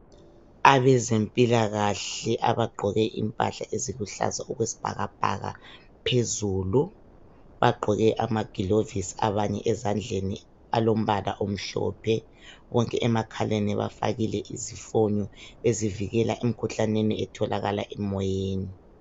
Abezempilakahle abagqoke impahla eziluhlaza okwesibhakabhaka phezulu, bagqoke amagilovisi abanye ezandleni alombala omhlophe, konke emakhaleni bafakile izifonyo ezivikela emikhuhlaneni etholakala emoyeni.